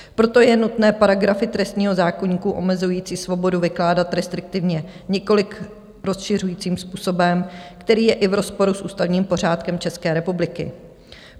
Proto je nutné paragrafy trestního zákoníku omezující svobodu vykládat restriktivně, nikoliv rozšiřujícím způsobem, který je i v rozporu s ústavním pořádkem České republiky.